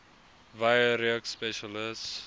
wye reeks spesialis